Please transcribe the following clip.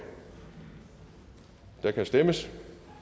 og der kan stemmes